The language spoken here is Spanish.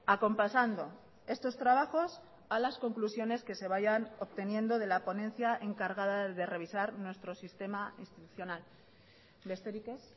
acompasando estos trabajos a las conclusiones que se vayan obteniendo de la ponencia encargada de revisar nuestro sistema institucional besterik ez